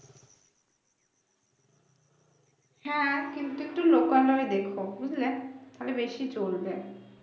হ্যাঁ কিন্তু একটু লোকালয় দেখো বুঝলে তাহলে বেশি চলবে